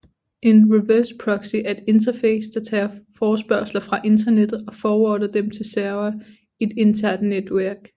En reverse proxy er et interface der tager forespørgsler fra internettet og forwarder dem til servere i et internt netværk